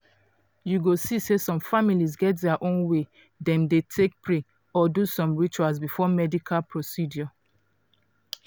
you go see say some families get dia own way dem dey take pray or do some rituals before medical procedure.